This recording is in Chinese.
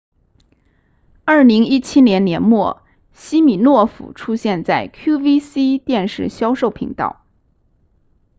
2017年年末西米诺夫出现在 qvc 电视销售频道